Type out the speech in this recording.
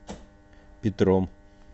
петром